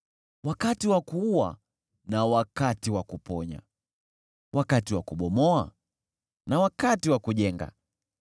wakati wa kuua na wakati wa kuponya, wakati wa kubomoa, na wakati wa kujenga,